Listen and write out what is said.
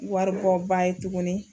Waribɔba ye tuguni.